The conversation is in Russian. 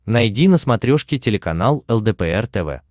найди на смотрешке телеканал лдпр тв